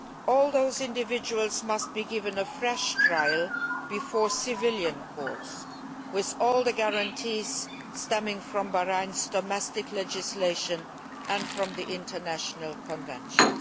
All those individuals must be given a fresh trial before civilian courts with all the guarantees arising from Bahrain's domestic legislation and from the relevant international conventions.